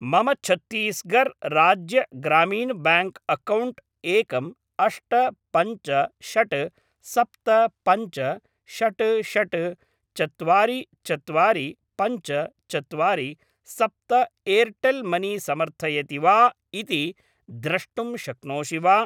मम Chhattisgarh Rajya Gramin bank account एकम् अष्ट पञ्च षड् सप्त पञ्च षट् षट् चत्वारि चत्वारि पञ्च चत्वारि सप्त एर्टेल् मनी समर्थयति वा इति द्रष्टुं शक्नोषि वा?